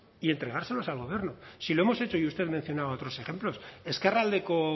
y entregárselos al gobierno si lo hemos hecho y usted mencionaba otros ejemplos ezkerraldeko